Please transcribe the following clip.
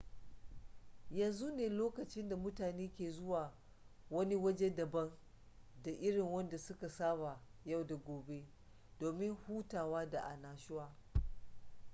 yanzu ne lokacin da mutane ke zuwa wani waje daban da irin wanda su ka saba yau da gobe domin hutawa da annashuwa